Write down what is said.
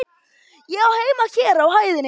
Ég á heima hér á hæðinni.